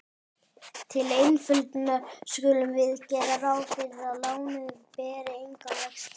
Til einföldunar skulum við gera ráð fyrir að lánið beri enga vexti.